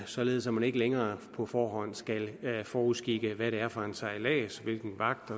således at man ikke længere på forhånd skal forudskikke hvad det er for en sejlads hvilken vagt